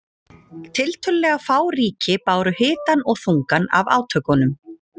Tiltölulega fá ríki báru hitann og þungann af átökunum.